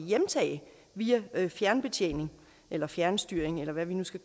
hjemtage via fjernbetjening eller fjernstyring eller hvad vi nu skal